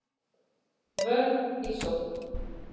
Vörn í sókn